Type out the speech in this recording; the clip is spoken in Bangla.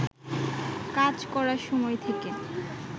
কাজ করার সময় থেকে